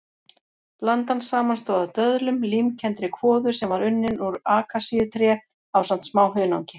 Blandan samanstóð af döðlum, límkenndri kvoðu sem var unnin úr akasíutré ásamt smá hunangi.